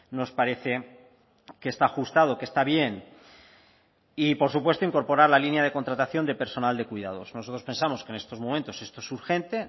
nos parece que está ajustado que está bien y por supuesto incorporar la línea de contratación de personal de cuidados nosotros pensamos que en estos momentos esto es urgente